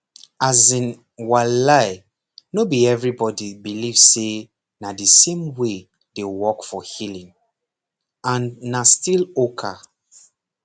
as in walai no be everybody believe say na the same way dey work for healing and na still oka